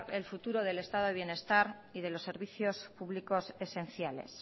el futuro del estado de bienestar y de los servicios públicos esenciales